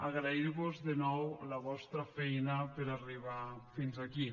agrair vos de nou la vostra feina per a arribar fins aquí